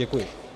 Děkuji.